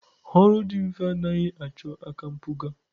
Ọrụ dị mfe anaghị achọ aka mpụga.